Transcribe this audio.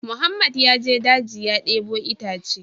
Mohammed ya je daji ya debo itace